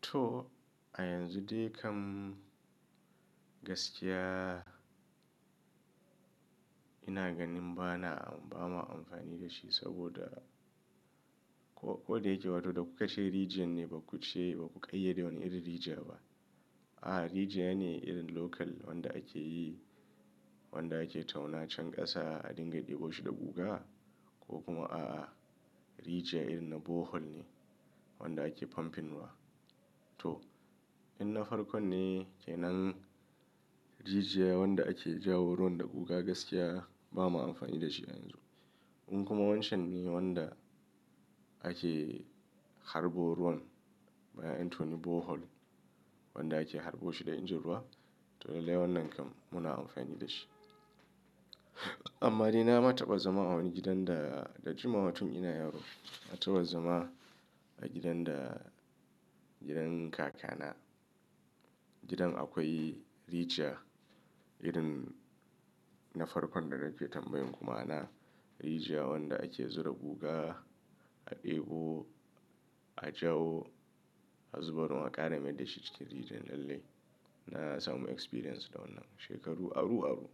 To a yanzu dai kam gaskiya ina ganin ba na ba ma amfani da shi saboda ko da yake wato da kuka ce rijiyan ne ba ku ce ba ku ƙayyade wani irin rijiya ba. A'a, rijiya ne irin local wanda ake yi, wanda ake tauna can ƙasa a dinga ɗebo shi da guga ko kuma a'a rijiya irin na borehole ne wanda ake pumping wa. To, in na farko ne kenan rijiya wanda ake jawo ruwan da guga gaskiya ba ma amfani da shi a yanzu. In kuma wancan ne wanda ake harbo ruwan bayan An toni borehole wanda ake harbo shi da injin ruwa to lallai wannan kam muna amfani da shi. Amma dai na ma taɓa zama a wani gidan da da jima wa tun ina yaro na taɓa zama a gidan da gidan kakana. Gidan akwai rijiya irin na farkon da nake tambayin ku ma, ana rijiya wanda ake zura guga a ɗebo, a jawo, a zuba ruwan, a ƙara mai da shi cikin rijiyan lallai na samu experience da wannan shekaru aru-aru.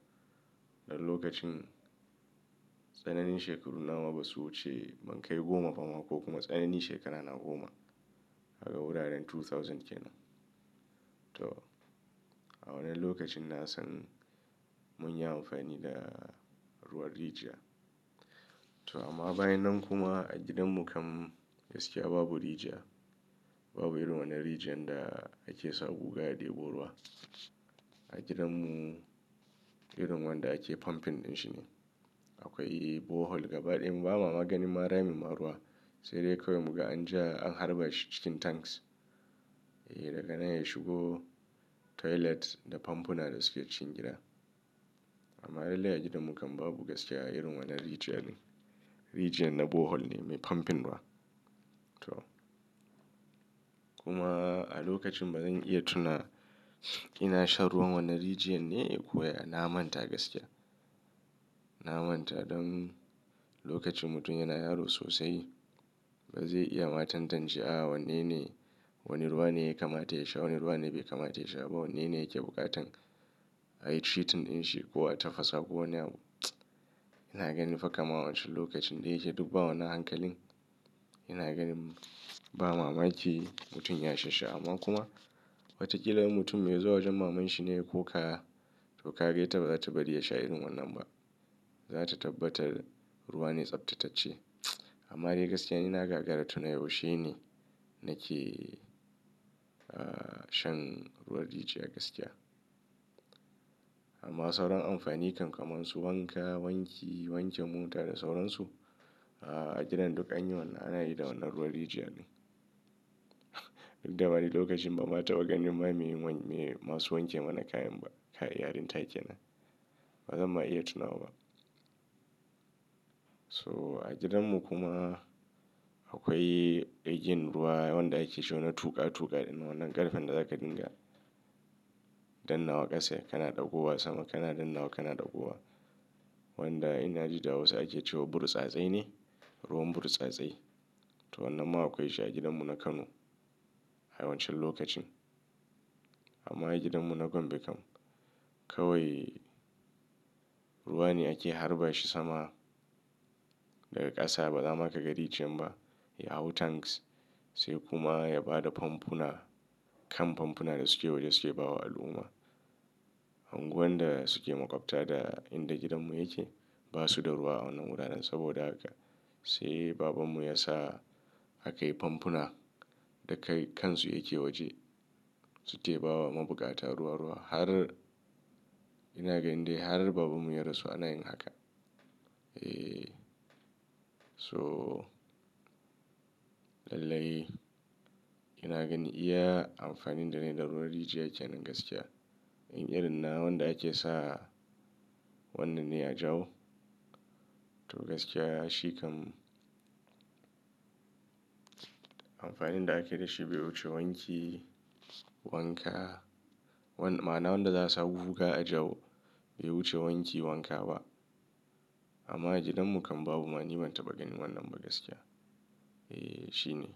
Dan lokacin tsananin shekaru na ma ba su wuce ban kai goma ba ma ko kuma tsananin shekarana goma daga wuraren two thousand kenan kenan. To, a wannan lokacin na san mun yi amfani da ruwan rijiya. To amma bayan nan kuma a gidanmu kam gaskiya babu rijiya. Babu irin wannan rijiyar da ake sa guga ya ɗebo ruwa. A gidanmu irin wanda ake pumping inshi ne. Akwai borehole gaba ɗaya mu ba ma maganin ma ramin ma ruwa sai dai kawai muga an ja an harba shi cikin tanks. Eee daga nan ya shigo toilet da famfuna da suke cin gida. Amma dai a gidanmu kam babu gaskiya irin wannan rijiya din. Rijiya na borehole ne mai pumping ruwa. To kuma a lokacin ba zan iya tuna ina shan ruwan wannan rijiyar ne kuwa na manta gaskiya. Na manta don lokacin mutum yana yaro sosai ba zai iya ma tantacewa a'a wanene, wane ruwa ne ya kamata ya sha, wane ruwa ne bai kamata ya sha ba, wanene yake buƙatan a yi treatment in shi ko a tafasa ko wani abu. Ina ganin fa kamar wancan lokacin dai yake duk ba wani hankalin. Ina ganin ba mamaki mutum ya sha shi amma kuma watakila in mutum mai zuwa wajen maman shi ne ya koka to ka ga ita ba za ta bari ya sha irin wannan ba. Za ta tabbatar ruwa ne tsaftatacce. Amma dai gaskiya nina gagara tuna yaushe ne nake shan ruwan rijiya gaskiya. Amma sauran amfani kamar su wanka, wanki, wanke mota da sauran su a'a a gidan duk anyi wannan ana yi da wannan ruwan rijiya ne. Duk da mani lokacin ba ma taɓa ganin ma me masu wanke mana kayan ba kayan ba kai yarin take nan. Ba zan ma iya tuna wa ba. So a gidanmu kuma akwai igiyan ruwa wanda ake ce wa na tuƙa tuƙa ɗin wannan ƙarfen da za ka dinga dannawa ƙasa kana ɗagowa sama kana dannawa kana ɗago wa. Wanda ina ji da wasu ake ce wa burtsatse ne ruwan burtsatse. To wannan ma akwai shi a gidanmu na Kano a wancan lokacin. Amma a gidanmu na Gombe kam kawai ruwa ne ake harba shi sama daga ƙasa ba za ma ka ga rijiyar ba. Ya hau tanks sai kuma ya ba da famfuna kan famfuna da suke waje suke bawa al'umma. Anguwan da suke makwabta da inda gidanmu yake ba su da ruwa a wannan wuraren saboda haka sai babanmu ya sa aka yi famfuna da kai kansu yake waje su ke bawa mabukata ruwa-ruwa har ina ganin dai har babanmu ya rasu ana yin haka. Eee so lallai ina ganin iya amfanin da ne da ruwan rijiya kenan gaskiya. In irin na wanda ake sa wannan ne a jawo to gaskiya shi kam amfanin da ake da shi bai wuce wanki, wanka. Ma'ana wanda za su sa guga a jawo bai wuce wanki wanka ba. Amma a gidanmu kam babu ma ni ban taɓa ganin wannan ba gaskiya. Eee shine.